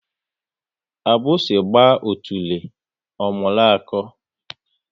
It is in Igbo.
Agbusi gba otule, ọ mụrụ akọ